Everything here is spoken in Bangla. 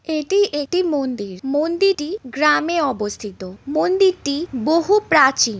এটি একটি মন্দির। মন্দিটি গ্রামে অবস্থিত। মন্দিরটি বহু প্রাচীন।